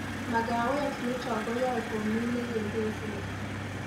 Magawetnito koyae komii ne kekeseni